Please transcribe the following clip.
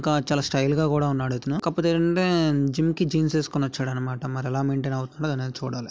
ఇంకా చాలా స్టైల్ గా ఉన్నాడు ఇతను. కాకపొతే ఏటంటే జిమ్ కి జీన్స్ వేసుకొని వచ్చాడు అన్నమాట. మరి ఎలా మైంటైన్ అవుతుందో చూడాలి.